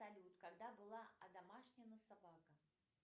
салют когда была одомашнена собака